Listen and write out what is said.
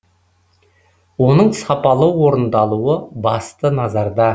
оның сапалы орындалуы басты назарда